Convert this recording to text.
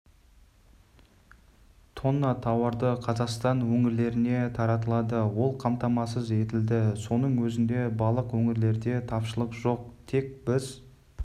тонна тауарды қазақстан өңірлеріне таратылды ол қамтамасыз етілді соның өзінде барлықөңірлерде тапшылық жоқ тек біз